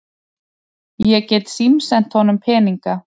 Ég get símsent honum peninga.